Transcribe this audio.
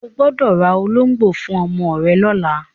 O gbọ́dọ̀ ra ológbò fún ọmọ rẹ lọ́la!